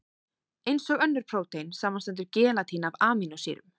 Eins og önnur prótein, samanstendur gelatín af amínósýrum.